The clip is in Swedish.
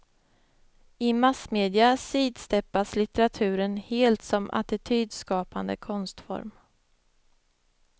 I massmedia sidsteppas litteraturen helt som attitydskapande konstform.